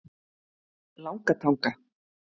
Langatanga